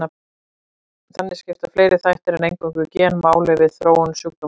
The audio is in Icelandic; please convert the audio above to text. Þannig skipta fleiri þættir en eingöngu gen máli við þróun sjúkdómsins.